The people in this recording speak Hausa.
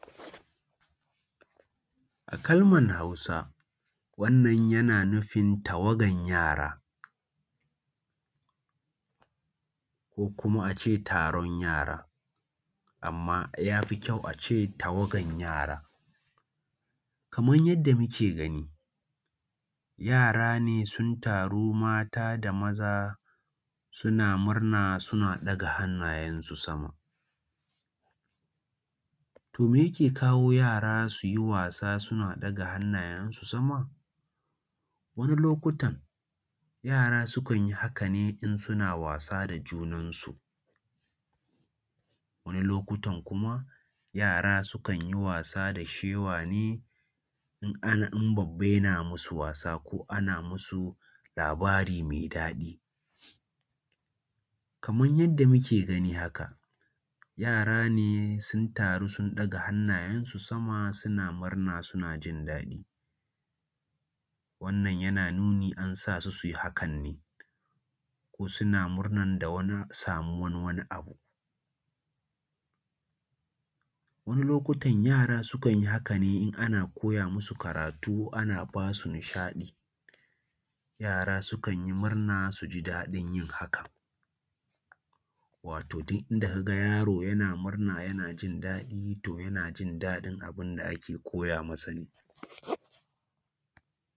A kalmar Hausa wannan yana nufin tawagan yara ko kuma a ce taron yara, amma ya fi kyau a ce tawagan yara. Kamar yanda muke gani, yara ne sun taru mata da maza suna murna suna ɗaga hannayensu sama. To meyake kawo su yi wasa suna ɗaga hannayensu sama? wani lokutan yara sukan yi haka ne in suna wasa da junansu, wani lokutan kuma yara sukan yi wasa da shewa ne in an, in babba yana masu wasa ko ana masu labari mai daɗi. kamar yanda muke gani haka, yara ne sun taru sun ɗaga hannayensu sama suna murna suna jindaɗi. wannan yana nuni an sa su su yi hakan ne ko suna murnan da wani samuwan wani abu. Wani lokutan yara sukan yi haka ne in ana koya musu karatu ana basu nishaɗi, yara sukan yi murna su ji daɗin yin haka. Wato duk inda ka ga yaro yana murna yana jindaɗi, to yana jindaɗin abun da ake koya masa ne.